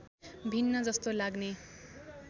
भिन्न जस्तो लाग्ने